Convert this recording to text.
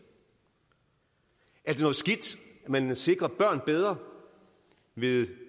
at man kan sikre børn bedre ved